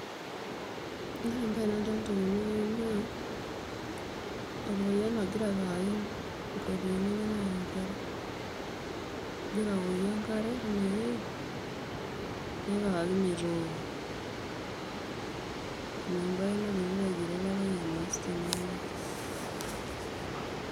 ore embae nadolita tenewui naa orpayian ogira apikaki ngamiyani enyenak enkare, egira aokoki enkare tinewui nepikaki metooko. ina embae nadolita egira ele payian aas tene.